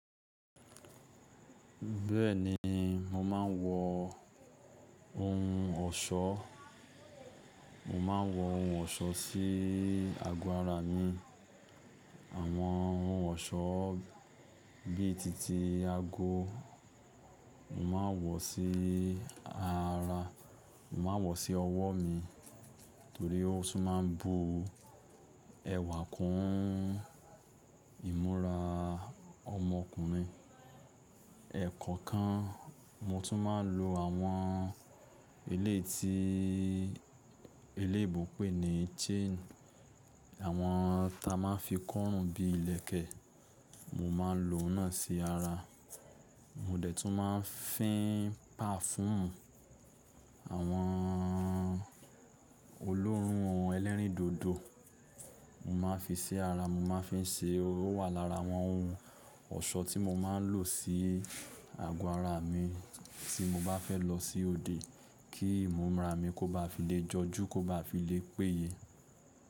Bẹ́ẹ̀ni, mo máa ń wọ ohun ọ̀ṣọ́, mo máa ń wọ ohun ọ̀ṣọ́ sí agọ ara mi. Àwọn ohun ọ̀ṣọ́ bí i títí ago, mo máa ń wọ̀ sí ara, mo máa ń wọ̀ sí ọwọ́ mi torí ó tún máa ń bu ẹwà kún ìmúra ọmọkùnrin. Ẹ̀kọ̀kan mo tún máa ń lo àwọn eléyii tí, eléébo pè ní chain, àwọn ta máa ń fi kọ́run bí i ìlẹ̀kẹ̀, mo máa ń lo oun náà sí ara. Mo dẹ̀ tún máa ń fín pafúumu, àwọn olóòórùn ọ̀hún ẹlẹ́rìn dodo, mo máa ń fin sí ara, mo máa ń fi se, ó wà lára àwọn ohun ọ̀ṣọ́ tí mo máa ń lò sí àgọ́ ara mi tí mo bá fẹ́ lọ sí òde kí ìmúra mi kó ba fi lè jọjú, kó ba fi lè péye.